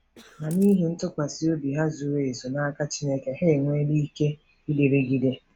Ma n’ihi ntụkwasị obi ha zuru ezu n’aka Chineke, ha enweela ike ịdịrịgide.